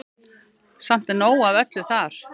Samt er nóg af öllu þar.